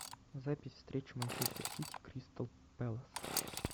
запись встречи манчестер сити кристал пэлас